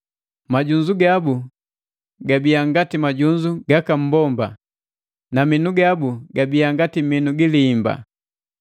Majunzu gabu gabia ngati majunzu gaka mbomba, na minu gabu gabia ngati minu gi liimba.